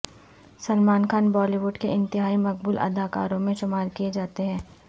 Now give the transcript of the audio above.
Salman Khan Bollywood کے انتہائی مقبول اداکاروں میں شمار کیے جاتے ہیں